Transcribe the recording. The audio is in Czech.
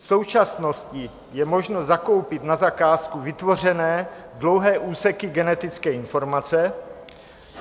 V současnosti je možno zakoupit na zakázku vytvořené dlouhé úseky genetické informace.